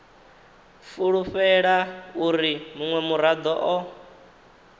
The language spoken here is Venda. fulufhela uri munwe murado o